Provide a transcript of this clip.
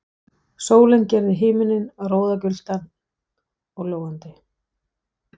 Sólin gerði himininn roðagylltan og logandi.